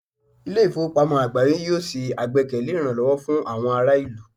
Ilé ìfowópamọ́ àgbááyé yóò ṣe àgbékalẹ̀ ìrànlọ́wọ́ fún àwọn ará ìlú